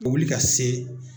O bɛ wili ka se